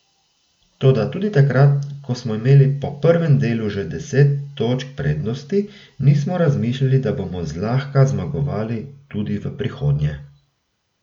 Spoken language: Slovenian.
Toda tudi takrat, ko smo imeli po prvem delu že deset točk prednosti, nismo razmišljali, da bomo zlahka zmagovali tudi v prihodnje.